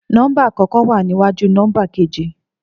Nọ́mbà àkọ́kọ́ wa níwájú nọ́mbà keji